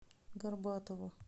горбатову